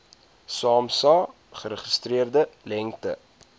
samsa geregistreerde lengte